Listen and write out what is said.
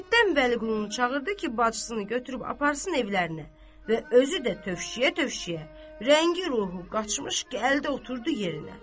Həyətdən Vəliqununu çağırdı ki, bacısını götürüb aparsın evlərinə və özü də tövşüyə-tövşüyə, rəngi ruhu qaçmış gəldi oturdu yerinə.